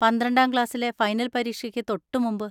പന്ത്രണ്ടാം ക്ലാസ്സിലെ ഫൈനൽ പരീക്ഷയ്ക്ക് തൊട്ടുമുമ്പ്.